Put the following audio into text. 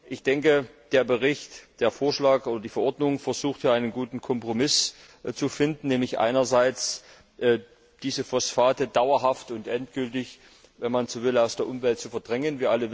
Ich denke, der Bericht, der Vorschlag oder die Verordnung versucht hier einen guten Kompromiss zu finden, nämlich einerseits diese Phosphate dauerhaft und endgültig, wenn man so will, aus der Umwelt zu verdrängen.